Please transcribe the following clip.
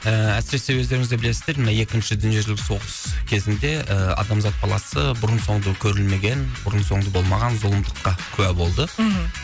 ііі әсіресе өздеріңіз де білесіздер мына екінші дүниежүзілік соғыс кезінде ы адамзат баласы бұрын соңды көрілмеген бұрын соңды болмаған зұлымдыққа куә болды мхм